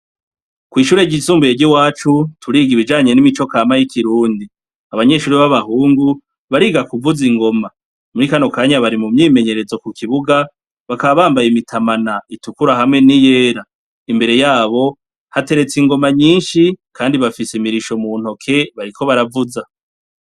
Kw'ishure ryisumbuye ry'iwacu turiga ibijanye n'imico kama y'ikirundi. Abanyeshure b'abahungu bariga kuvuza ingoma , muri kano kanya bari mu myimenyerezo ku kibuga bakaba bambaye imitamana itukura hamwe n'iyera. Imbere yabo hateretse ingoma nyinshi Kandi bafise imirisho mu ntoke bariko baravuza.